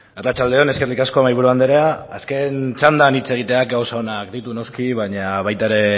arratsalde on eskerrik asko mahai buru andrea azken txandan hitz egiteak gauza onak ditu noski baina baita ere